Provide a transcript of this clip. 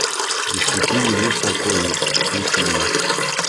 без пяти минут покойник включи мне